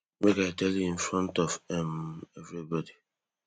make i tell you in front of um everybody